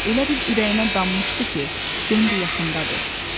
Elə bil ürəyinə dammışdı ki, Bembi yaxındadır.